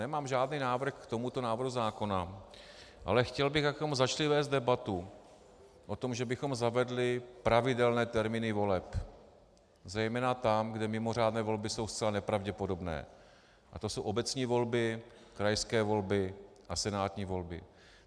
Nemám žádný návrh k tomuto návrhu zákona, ale chtěl bych, bychom začali vést debatu o tom, že bychom zavedli pravidelné termíny voleb, zejména tam, kde mimořádné volby jsou zcela nepravděpodobné, a to jsou obecní volby, krajské volby a senátní volby.